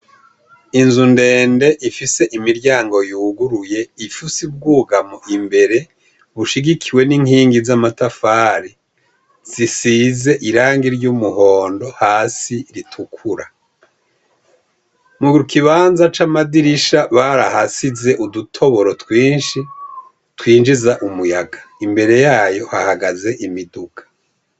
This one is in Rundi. Inzu ndende ifise imiryango yuguruye ifusi bwugamo imbere bushigikiwe n'inkingi z'amatafari zisize irangi ry'umuhondo hasi ritukura, mu kibanza c'amadirisha barahasize udutoboro twinshi twinjiza umuyaga imbere yayo hahagaze imiduka.